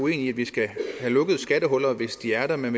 i at vi skal have lukket skattehuller hvis de er der men